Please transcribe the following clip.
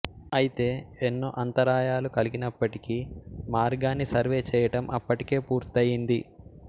అయితే ఎన్నో అంతరాయాలు కలిగినప్పటికీ మార్గాన్ని సర్వే చేయటం అప్పటికే పూర్తయింది